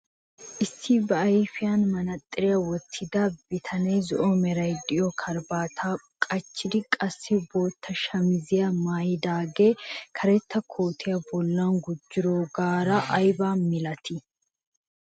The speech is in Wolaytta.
Issi ba ayfiyaan manaatsiriyaa wottida bitanee zo'o meray de'iyoo karabaataa qachchidi qassi bootta shamisiyaa maayidaagee karetta kootiyaa bollan gujjoogara aybaa milatii?